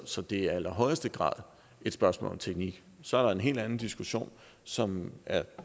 så det er i allerhøjeste grad et spørgsmål om teknik så er der en helt anden diskussion som er